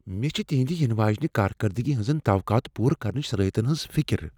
مےٚ چھ تِہندِ ینہٕ واجنِہ کارکردگی ہٕنزن توقعات پورٕ کرنٕچن صلاحیتن ہٕنز فکر ۔